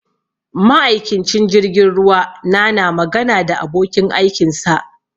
Ma'aikincin jirgin ruwa na na magana da abokin aikin sa